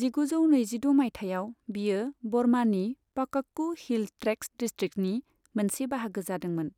जिगुजौ नैजिद' माइथायाव, बेयो बर्मानि पाकक्कु हिल ट्रेक्त्स डिस्ट्रिक्ट्सनि मोनसे बाहागो जादोंमोन